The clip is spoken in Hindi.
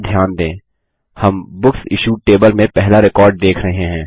यहाँ ध्यान दें हम बुक्स इश्यूड टेबल में पहला रिकॉर्ड देख रहे हैं